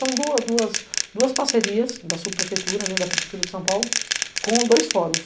São duas duas duas parcerias da subprefeitura, da prefeitura de São Paulo, com dois fóruns.